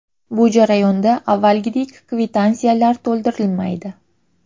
Bu jarayonda avvalgidek kvitansiyalar to‘ldirilmaydi.